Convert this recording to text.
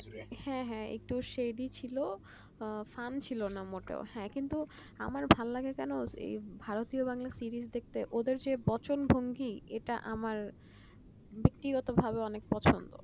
হ্যাঁ হ্যাঁ একটু story ছিল হম ছিল কিন্তু আমার ভাললাগে কেন ভারতীয় বাংলার series দেখতে ওদের যে বচনভঙ্গি এটা আমার ব্যক্তিগতভাবে অনেক পছন্দ